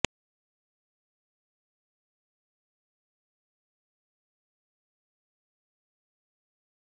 निकष डावलून करण्यात आलेल्या या नियुक्तीमुळे जिल्हा शासकीय रूग्णालय पुन्हा चर्चेत आले आहे